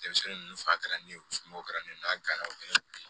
Denmisɛnnin ninnu fa kɛra ne ye o kɛra ne na gana o ye